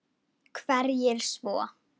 Hverjir svo?